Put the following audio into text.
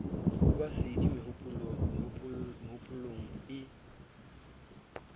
ho ba sedi mehopolong e